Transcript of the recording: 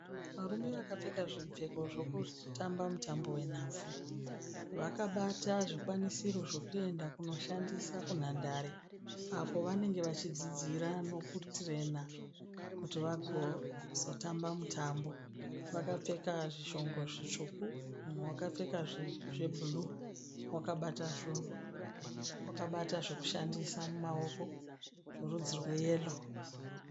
Varume vakapfeka zvipfeko zvekutamba mutambo wenhabvu. Vakabata zvikwanisiro zvekuenda kundoshandisa kunhandara apo vanenge vachidzidzira nekutirena kuti vagozotamba mutambo. Vakapfeka zvishongo zvitsvuku mumwe akapfeka zvebhuruu wakabata zvinhu. Wakabata zvekushandisa mumaoko zverudzi rwe yero.